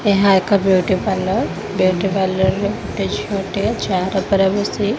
ଏହା ଏକ beauty parlour beauty parlour ରେ ଗୋଟେ ଝିଅଟେ ଚାଆ ପାଖରେ ବସି।